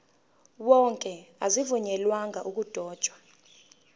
wonke azivunyelwanga ukudotshwa